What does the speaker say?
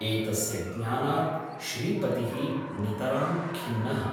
एतस्य ज्ञानात् श्रीपतिः नितरां खिन्नः ।